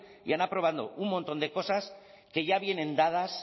y han aprobado un montón de cosas que ya vienen dadas